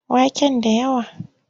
Waken da yawa?